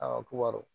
A ko awɔ